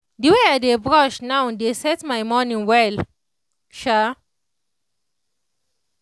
the way i dey brush now dey set my morning well. um